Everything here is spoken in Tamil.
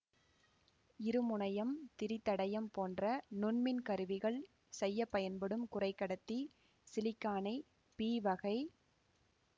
இருமுனையம் திரிதடையம் போன்ற நுண்மின்கருவிகள் செய்ய பயன்படும் குறைகடத்தி சிலிக்கானை பிவகை